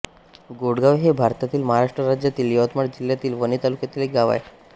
गोडगाव हे भारतातील महाराष्ट्र राज्यातील यवतमाळ जिल्ह्यातील वणी तालुक्यातील एक गाव आहे